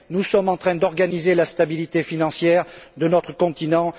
Nous sommes en train d'organiser la stabilité financière de notre continent.